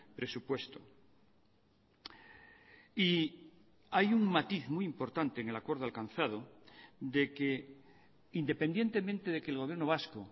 presupuesto y hay un matiz muy importante en el acuerdo alcanzado de que independientemente de que el gobierno vasco